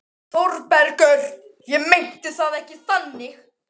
ÞÓRBERGUR: Ég meinti það ekki þannig.